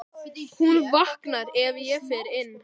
Hún vaknar ef ég fer inn.